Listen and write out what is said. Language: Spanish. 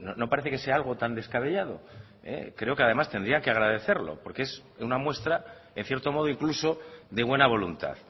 no parece que sea algo tan descabellado creo que además tendrían que agradecerlo porque es una muestra en cierto modo incluso de buena voluntad